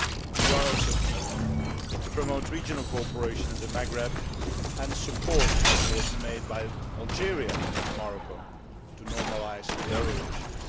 We are also keen to promote regional cooperation in the Maghreb and support efforts made by Algeria and Morocco to normalise their relations.